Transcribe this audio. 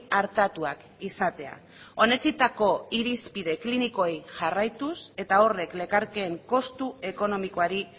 artatuak izatea onetsitako irizpide klinikoei jarraituz eta horrek lekarkeen kostu ekonomikoari